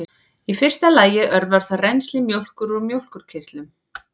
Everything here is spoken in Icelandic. í fyrsta lagi örvar það rennsli mjólkur úr mjólkurkirtlum